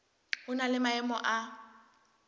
ho na le maemo a